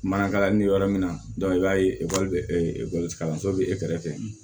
Manakalannin bɛ yɔrɔ min na i b'a ye kalanso bɛ e kɛrɛfɛ